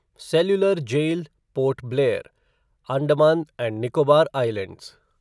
cellular jail Port Blair, Andaman and Nicobar islands